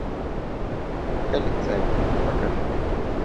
коллекционер покажи